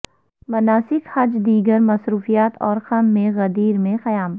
مناسک حج دیگر مصروفیات اور خم میں غدیر میں قیام